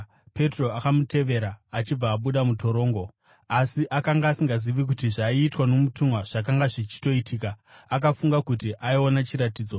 Petro akamutevera achibuda mutorongo, asi akanga asingazivi kuti zvaiitwa nomutumwa zvakanga zvichitoitika; akafunga kuti aiona chiratidzo.